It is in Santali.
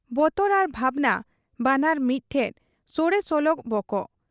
ᱵᱚᱛᱚᱨ ᱟᱨ ᱵᱷᱟᱵᱽᱱᱟ ᱵᱟᱱᱟᱨ ᱢᱤᱫ ᱴᱷᱮᱫ ᱥᱚᱲᱮ ᱥᱚᱞᱚᱜ ᱵᱚᱠᱚᱜ ᱾